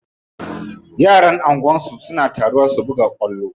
Yaran anguwa suna taruwa su buga kwallo.